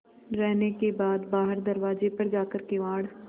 रहने के बाद बाहर दरवाजे पर जाकर किवाड़